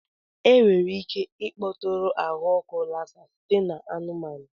Enwere ike ịkpọtụrụ ahụ ọkụ Lassa site na anụmanụ.